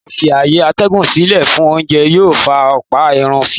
Àìfi-ààyè-atẹ́gùn sílè fún oúnjẹ yóò fa ọlpọ̀ ikú si.